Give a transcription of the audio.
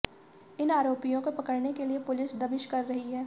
इन आरोपियों को पकडऩे के लिए पुलिस दबिश कर रही है